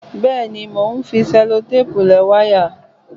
Bẹ́ẹ̀ni, mo ń fi ṣelotéèpù lẹ wáyà